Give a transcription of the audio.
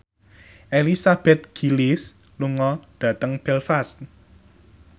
Elizabeth Gillies lunga dhateng Belfast